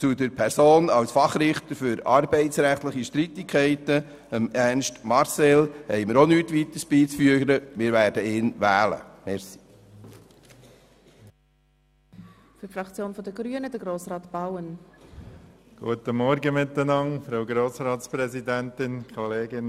Über Ernst Marcel als Fachrichter für arbeitsrechtliche Streitigkeiten haben wir nichts Weiteres beizufügen, und wir werden ihn wählen.